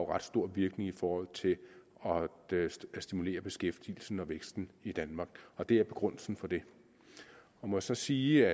ret stor virkning i forhold til at stimulere beskæftigelsen og væksten i danmark og det er begrundelsen for det jeg må også sige